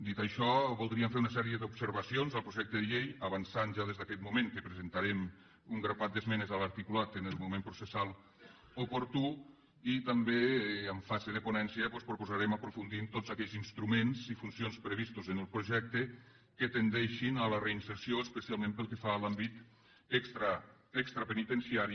dit això voldríem fer una sèrie d’observacions al projecte de llei avançant ja des d’aquest moment que presentarem un grapat d’esmenes a l’articulat en el moment processal oportú i també en fase de ponència doncs proposarem aprofundir en tots aquells instruments i funcions previstos en el projecte que tendeixin a la reinserció especialment pel que fa a l’àmbit extrapenitenciari